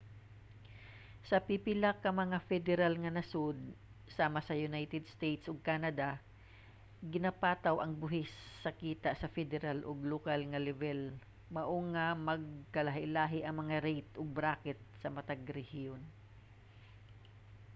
sa pipila ka mga federal nga nasud sama sa united states ug canada ginapataw ang buhis sa kita sa federal ug lokal nga lebel mao nga magkalahilahi ang mga rate ug bracket sa matag rehiyon